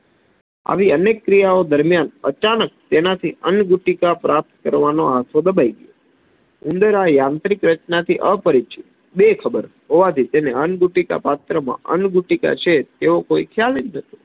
આવી અનેક ક્રિયાઓ દરમ્યાન અચાનક તેનાથી અંગુટિકા પ્રાપ્ત કરવાનો દબાઈ ગયો ઉંદરે આંતરિક રચનાથી અપરિચિત બેખબર હોવાથી તેને અંગુટિકા પાત્રમાં અંગીતીકા છે તેવો કોઈ ખ્યાલજ નથી